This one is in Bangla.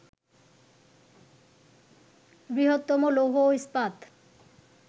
বৃহত্তম লৌহ ও ইস্পাত